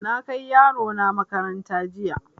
Na kai yaro na makaranta jiya.